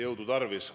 Jõudu tarvis!